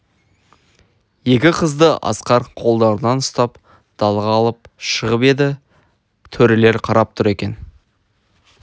екі қызды асқар қолдарынан ұстап далаға алып шығып еді төрелер қарап тұр екен